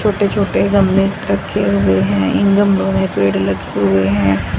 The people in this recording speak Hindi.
छोटे छोटे गमले रखे हुए हैं इन गमले में पेड़ लगे हुए हैं।